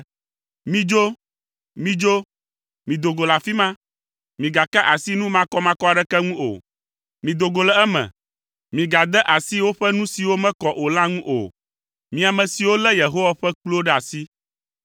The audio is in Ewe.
Midzo, midzo, mido go le afi ma! Migaka asi nu makɔmakɔ aɖeke ŋu o! Mido go le eme, Migade asi woƒe nu siwo ŋuti mekɔ o. Mi ame siwo lé Yehowa ƒe kpluwo ɖe asi.